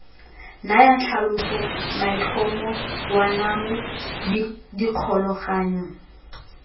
naya tlhaloso maitlhomo boanamo dikgolagano